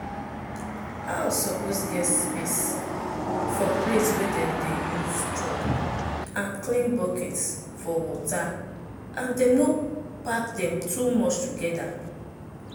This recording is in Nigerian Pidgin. house suppose get space for plate wey dem dey use chop and clean bucket for waterand dem no pack dem too much together.